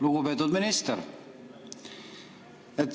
Lugupeetud minister!